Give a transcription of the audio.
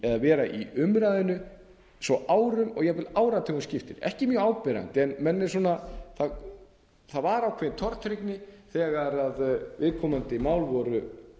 eða vera í umræðunni svo árum og jafnvel áratugum skiptir ekki mjög áberandi en menn eru svona það var ákveðin tortryggni þegar viðkomandi mál voru